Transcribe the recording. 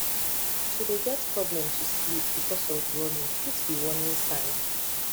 to de get problem to sleep because of running fit be warning sign